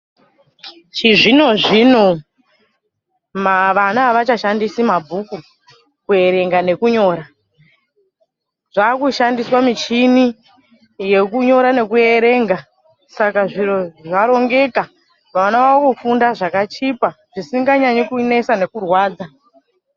Chizvino-zvino vana avachashandisi mabhuku kuerenga nekunyora. Zvakushandiswa michini yekunyora nekuverenga Saka zviro zvarongeka. Vana vakufunda zvakchipa zvisinganyanyi kunesa nekurwadza.